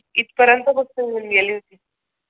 इथपर्यंत गोष्ट घेऊन गेली होती.